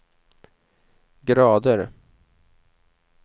grader